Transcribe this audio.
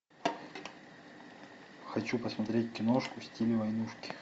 хочу посмотреть киношку в стиле войнушки